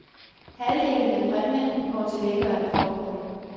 Halvdelen af præmien går til velgørende formål.